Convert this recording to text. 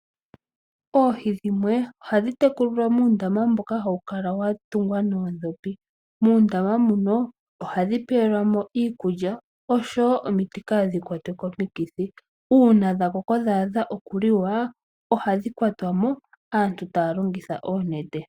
Oohi dhimwe ohadhi tekulilwa muundama mboka hawu kala watungwa noondhopi. Muundama ohadhi pewe lwamo iikulya oshowo iimiti opo dhaaha kwatwe komikithi. Uuna dhakoko dha adha okuliwa ohadhi kwatwamo aantu taya longitha oonete.